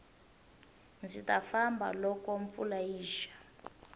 ndzi ta famba loko mpfula yi xa